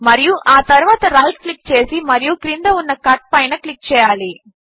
మరియు ఆ తరువాత రైట్ క్లిక్ చేసి మరియు క్రింద ఉన్న కట్ పైన క్లిక్ చేయాలి